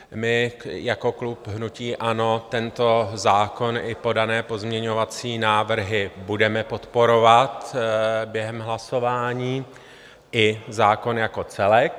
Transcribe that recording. My jako klub hnutí ANO tento zákon i podané pozměňovací návrhy budeme podporovat během hlasování i zákon jako celek.